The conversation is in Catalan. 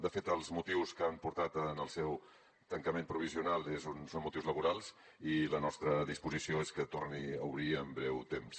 de fet els motius que han portat al seu tancament provisional són motius laborals i la nostra disposició és que torni a obrir en breu temps